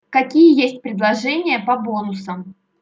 какие есть предложения по бонусам